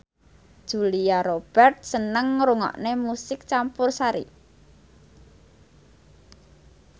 Julia Robert seneng ngrungokne musik campursari